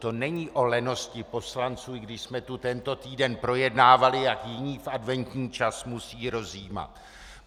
To není o lenosti poslanců, i když jsme tu tento týden projednávali, jak jiní v adventní čas musí rozjímat.